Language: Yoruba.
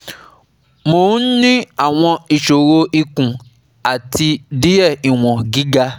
Mo ń ní àwọn iṣoro ikùn, àti diẹ̀ iwon giga